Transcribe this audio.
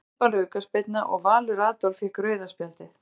Dæmd var aukaspyrna og Valur Adolf fékk rauða spjaldið.